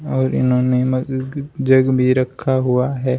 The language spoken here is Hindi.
और इन्होंने मग जग भी रखा हुआ है।